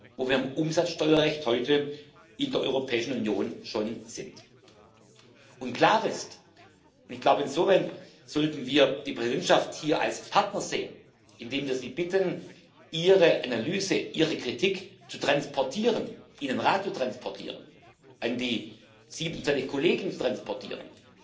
wo wir im Umsatzsteuerrecht heute in der Europäischen Union schon sind. Und klar ist ich glaube, insofern sollten wir die Präsidentschaft hier als Partner sehen, indem wir sie bitten, Ihre Analyse, Ihre Kritik zu transportieren, in den Rat zu transportieren, an die 27 Kollegen zu transportieren